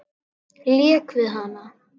Lék við hana.